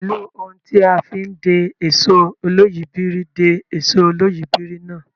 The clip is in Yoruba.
Pẹ̀lú ohun tí a fi ń de èsó olóyìíbìrí de èsó olóyìíbìrí náà.